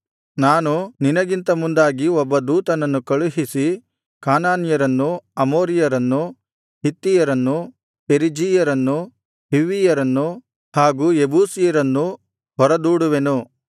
ನಾನು ನಿನಗಿಂತ ಮುಂದಾಗಿ ಒಬ್ಬ ದೂತನನ್ನು ಕಳುಹಿಸಿ ಕಾನಾನ್ಯರನ್ನು ಅಮೋರಿಯರನ್ನು ಹಿತ್ತಿಯರನ್ನು ಪೆರಿಜೀಯರನ್ನು ಹಿವ್ವಿಯರನ್ನು ಹಾಗು ಯೆಬೂಸಿಯರನ್ನು ಹೊರದೂಡುವೆನು